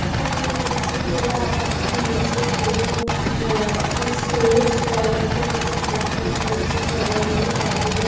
এখানে আমি দেখছি খোলা আকাশের নিচে কোন আহ একটি স্টেজ তার মধ্যে কিছু পারফর্ম করছে সবাই মিলে চারিদিকে --